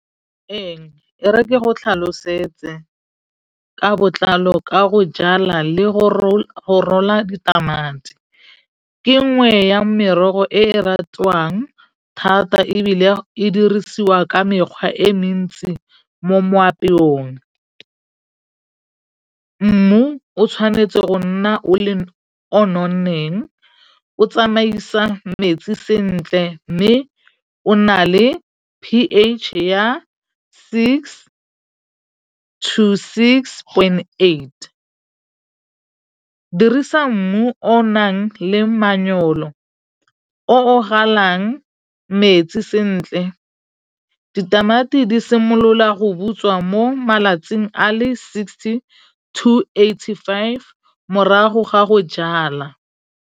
Ee, e reke go tlhalosetse ka botlalo ka go jala le go rola ditamati ke nngwe ya merogo e e ratwang thata ebile e dirisiwa ka mekgwa e mentsi mo moapeong. Mmu o tshwanetse go nna o le o nonneng. O tsamaisa metsi sentle. Mme o na le P_H ya six, two, six point eight. Dirisa mmu o o nang le manyolo o o galang metsi sentle. Ditamati di simolola go butswa mo malatsing a le sixty two eighty five morago ga go jala.